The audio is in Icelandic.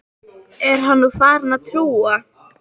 Er hann nú farinn að trúa?